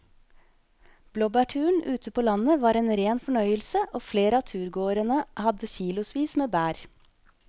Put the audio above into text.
Blåbærturen ute på landet var en rein fornøyelse og flere av turgåerene hadde kilosvis med bær.